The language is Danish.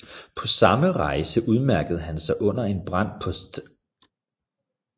På samme rejse udmærkede han sig under en brand på St